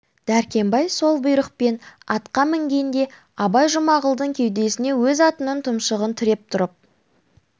дәркембай сол бұйрықпен атқа мінгенде абай жұмағұлдың кеудесіне өз атының тұмсығын тіреп тұрып